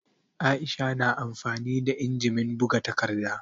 Aisha na amfani da injimin buga takarda